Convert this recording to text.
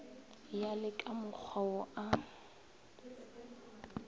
ya le kamokgwa wo a